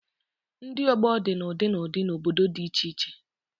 Ndị ọgbọ dị na ụdị na ụdị na obodo dị iche iche